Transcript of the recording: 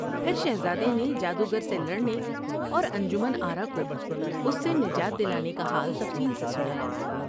پھر شہزادے نے جادوگر سے لڑنے اور انجمن آرا کو اس سے نجات دلانے کا حال تفصیل سے سنایا ۔